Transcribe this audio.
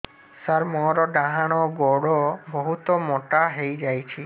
ସାର ମୋର ଡାହାଣ ଗୋଡୋ ବହୁତ ମୋଟା ହେଇଯାଇଛି